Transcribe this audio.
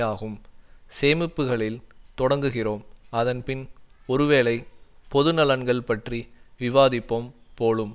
ஆகும் சேமிப்புக்களில் தொடங்குகிறோம் அதன் பின் ஒருவேளை பொது நலன்கள் பற்றி விவாதிப்போம் போலும்